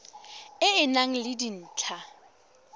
e e nang le dintlha